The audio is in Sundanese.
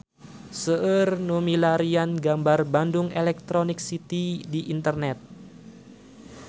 Seueur nu milarian gambar Bandung Electronic City di internet